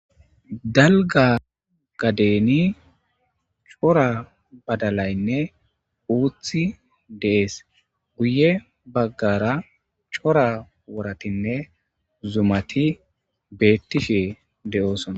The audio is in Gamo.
Dalga gadeni cora badalaynne uuthi dees guye baggara cora woratinne zumati beettishe de'oosona